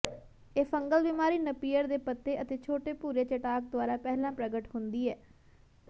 ਇਹ ਫੰਗਲ ਬਿਮਾਰੀ ਨਪੀਅਰ ਦੇ ਪੱਤੇ ਤੇ ਛੋਟੇ ਭੂਰੇ ਚਟਾਕ ਦੁਆਰਾ ਪਹਿਲਾ ਪ੍ਰਗਟ ਹੁੰਦੀ ਹੈ